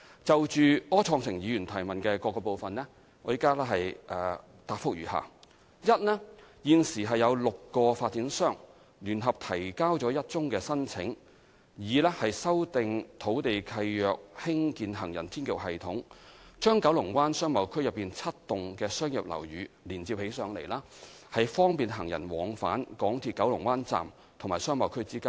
就柯創盛議員質詢的各部分，現答覆如下：一現時已有6個發展商聯合提交了1宗申請，擬修訂土地契約興建行人天橋系統，把九龍灣商貿區內7幢商業樓宇連接起來，方便行人往返港鐵九龍灣站及商貿區之間。